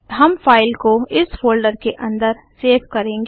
हम फाइल को इस फोल्डर के अंदर सेव करेंगे